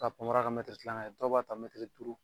K'a panpara kɛ mɛtiri tilaŋɛ ye, dɔw b'a ta mɛtiri duuru